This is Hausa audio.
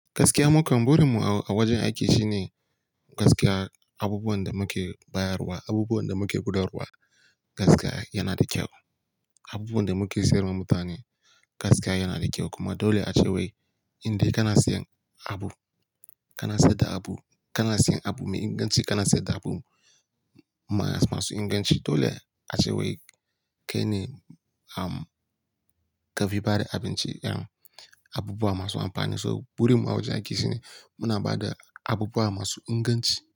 Gaskiya, mukan burin mu a wajen aiki shine gaskiya. Abubuwan da muke bayarwa, abubuwan da muke gudawarwa gaskiya yana da kyau. Abubuwan da muke siyarwa mutane gaskiya yana da kyau. Kuma dole a ce wai in dai kana siyan abu, kana sayar da abu, kana siyan abu mai inganci, kana sayar da abu masu inganci. Dole a ce wai kai ne am ka fi bada abinci, abubuwa masu amfani. So burin mu a wajen aiki shine muna bada abubuwa masu inganci.